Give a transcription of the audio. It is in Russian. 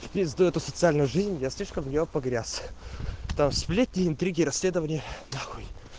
в пизду эту социальную жизнь я слишком в неё погряз там сплетни интриги расследования